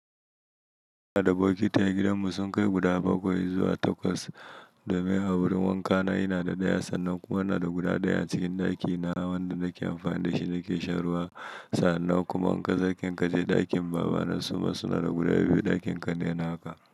Ina da bokitai a gidanmu sun kai guda bakwai zuwa takwas. Domin a wurin wanka na ina da ɗaya sannan kuma ina da guda ɗaya a cikin ɗakina wanda nake amfani da shi na ke shan ruwa sannan kuma in ka zakin kaje ɗakin baba na suma suna da guda biyu ɗakin kannai na haka.